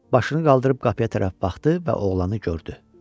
Başını qaldırıb qapıya tərəf baxdı və oğlanı gördü.